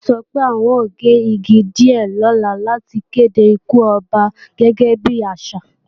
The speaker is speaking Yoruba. Kọ́lá sọ pé, àwọn ó gé àwọn igi díè lọ́la láti kède ikú Ọba gẹ́gẹ́ bí àṣà